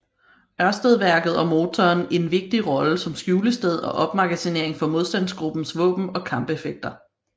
Ørstedværket og motoren en vigtig rolle som skjulested og opmagasinering for modstandsgruppers våben og kampeffekter